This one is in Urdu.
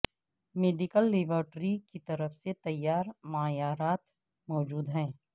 میڈیکل لیبارٹری کی طرف سے تیار معیارات موجود ہیں